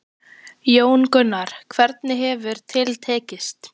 Jón Gunnar, hvernig hefur til tekist?